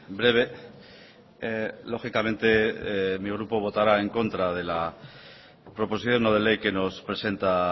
breve lógicamente mi grupo votará en contra de la proposición no de ley que nos presenta